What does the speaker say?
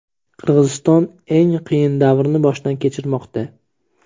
Qirg‘iziston eng qiyin davrni boshdan kechirmoqda.